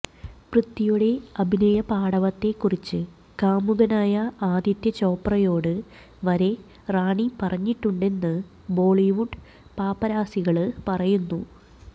പൃഥ്വിയുടെ അഭിനയപാടവത്തെക്കുറിച്ച് കാമുകനായ ആദിത്യ ചോപ്രയോട് വരെ റാണി പറഞ്ഞിട്ടുണ്ടെന്ന് ബോളിവുഡ് പാപ്പരാസികള് പറയുന്നു